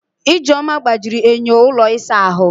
Ijeoma gbajiri enyo ụlọ ịsa ahụ.